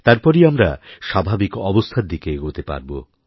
তারপরই আমরা স্বাভাবিকঅবস্থার দিকে এগোতে পারবো